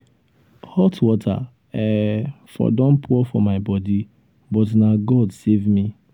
hot water um for don pour for my body but na god um save me.